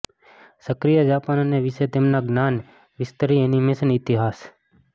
સક્રિય જાપાન અને વિશે તેમના જ્ઞાન વિસ્તરી એનિમેશન ઇતિહાસ